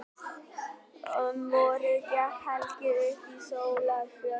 Um vorið gekk Helgi upp á Sólarfjöll.